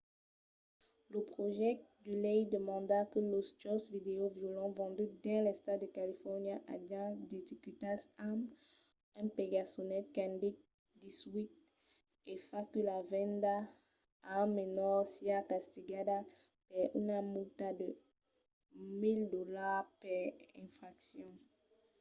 lo projècte de lei demanda que los jòcs vidèo violents venduts dins l'estat de califòrnia ajan d'etiquetas amb un pegasolet qu'indique 18 e fa que la venda a un menor siá castigada per una multa de 1 000$ per infraccion